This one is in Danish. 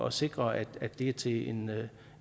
at sikre at det er til en